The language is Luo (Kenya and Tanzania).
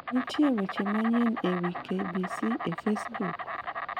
Be nitie weche manyien e wi K.B.C. e Facebook?